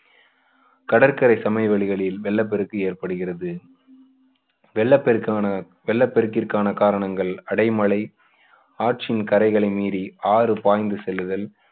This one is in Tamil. கடற்கரை சமவெளிகளில் வெள்ளப்பெருக்கு ஏற்படுகிறது வெள்ள பெருக்கான வெள்ளப்பெருக்கிற்கான காரணங்கள் அடைமழை ஆற்றின் கரைகளை மீறி ஆறு பாய்ந்து செல்லுதல்